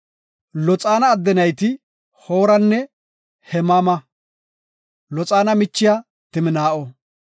Loxaana adde nayti Hooranne Hemaama; Loxaana michiya Timnaa7o.